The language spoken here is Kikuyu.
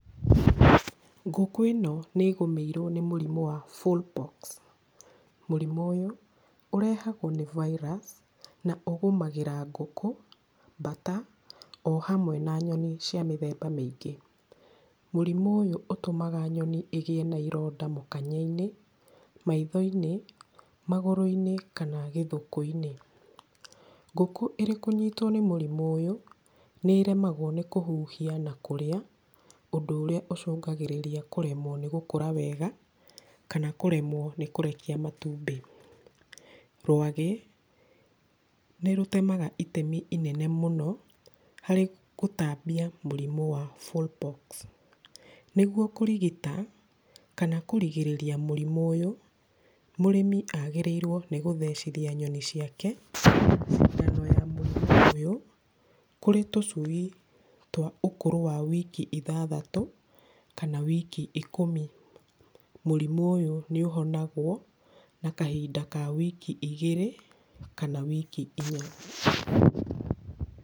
Ngũkũ ĩno nĩ ĩgũmĩirwo nĩ mũrimũ wa fullpox. Mũrimũ ũyũ ũrehagwo nĩ virus, na ũgũmagĩra ngũkũ, mbata, o hamwe na nyoni cia mĩthemba mĩingĩ. Mũrimũ ũyũ ũtũmaga nyoni ĩgĩe na ironda mũkanye-inĩ, maitho-inĩ, magũrũ-inĩ kana gĩthuku-inĩ. Ngũkũ ĩrĩ kũnyitwo nĩ mũrimũ ũyũ, nĩremagwo nĩ kũhuhia na kũrĩa, ũndũ ũrĩa ũcũngagĩrĩria kũremwo nĩ gũkũra wega kana kũremwo nĩ kũrekia matumbĩ. Rwagĩ nĩrũtemaga itemi inene mũno harĩ kũtambia mũrimũ wa fullpox. Nĩguo kũrigita kana kũrigĩrĩria mũrimũ ũyũ, mũrĩmi agĩrĩirwo nĩ gũthecithia nyoni ciake cindano ya mũrimũ ũyũ, kũrĩ tũcui twa ũkũrũ wa wiki ithathatũ kana wiki ikũmi. Mũrimũ ũyũ nĩũhonagwo, na kahinda ka wiki igĩrĩ kana wiki inya.